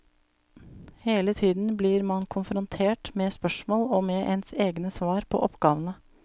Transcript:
Hele tiden blir man konfrontert med spørsmål og med ens egne svar på oppgavene.